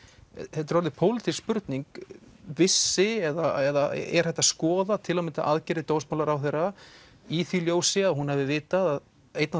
þetta er orðin pólitísk spurning vissi eða er hægt að skoða til að mynda aðgerðir dómsmálaráðherra í því ljósi að hún hafi vitað að einn af